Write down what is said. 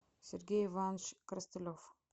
сергей иванович коростылев